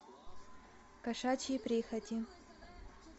кошачьи прихоти